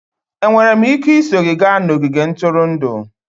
Enwere m ike iso gị gaa n'ogige ntụrụndụ?